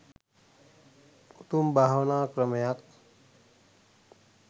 උතුම් භාවනා ක්‍රමයක්.